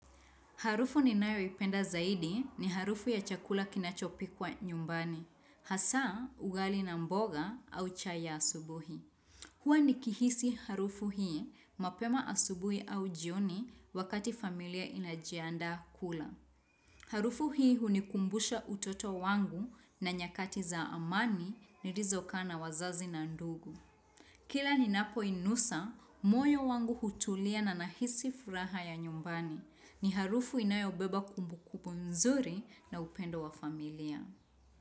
Harufu ninayoipenda zaidi ni harufu ya chakula kinachopikwa nyumbani. Hasa, ugali na mboga au chai ya asubuhi. Huwa ni kihisi harufu hii, mapema asubuhi au jioni wakati familia inajiandaa kula. Harufu hii hunikumbusha utoto wangu na nyakati za zamani nilizokaa na wazazi na ndugu. Kila ninapoinusa, moyo wangu hutulia na nahisi furaha ya nyumbani. Ni harufu inayobeba kumbukumbu mzuri na upendo wa familia.